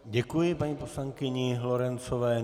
Děkuji paní poslankyni Lorencové.